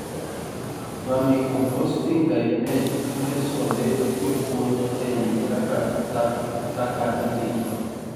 Vermicomposting Guide ne lesonde jopuonj ei kaka taka irito